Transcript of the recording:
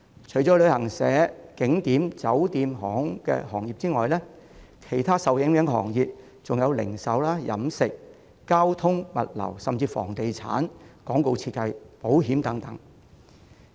除了旅行社、景點、酒店和航空業外，其他受影響的行業還有零售、飲食、交通、物流，甚至房地產、廣告設計和保險等。